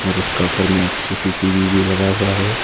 और उसका ऊपर में एक सी_सी_टी_वी भी लगा हुआ है।